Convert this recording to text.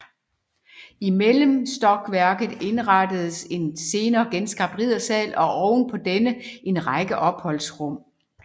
I mellemstokværket indrettedes en senere genskabt riddersal og oven på denne en række opholdsrum